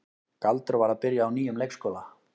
Galdur var að byrja á nýjum leikskóla.